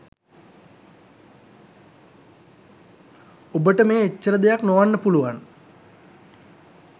ඔබට මෙය එච්චර දෙයක් නොවන්න පුළුවන්.